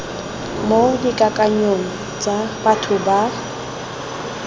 mo dikakanyong tsa batho ba